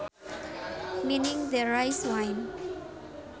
meaning the rice wine